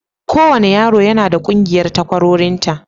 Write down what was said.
Kowane yaro yana da ƙungiyar takwarorinta.